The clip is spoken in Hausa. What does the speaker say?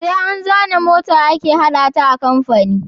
Sai an zana mota ake hada ta a kamfani